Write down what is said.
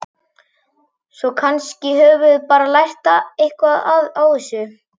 Svo kannski höfum við bara lært eitthvað á þessu.